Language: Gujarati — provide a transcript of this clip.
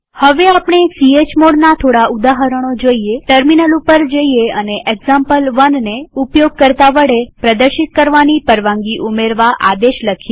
હવે આપણે chmodના થોડા ઉદાહરણો જોઈએટર્મિનલ ઉપર જઈએ અને example1ને ઉપયોગકર્તા વડે પ્રદર્શિત કરવાની પરવાનગી ઉમેરવા આદેશ લખીએ